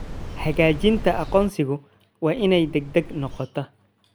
Xaqiijinta aqoonsigu waa inay degdeg noqotaa.